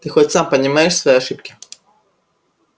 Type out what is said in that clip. ты хоть сам понимаешь свои ошибки